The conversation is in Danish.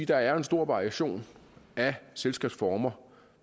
der er en stor variation af selskabsformer